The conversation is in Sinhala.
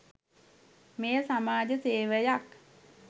මෙය සමාජ සෙවයක්.